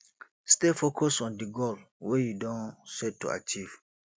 stay focused on di goal wey you don set to achieve